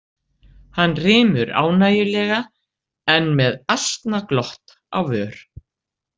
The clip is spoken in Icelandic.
Hann rymur ánægjulega, enn með asnaglott á vör.